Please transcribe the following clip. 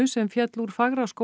sem féll úr